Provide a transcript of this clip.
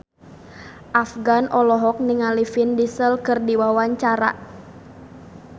Afgan olohok ningali Vin Diesel keur diwawancara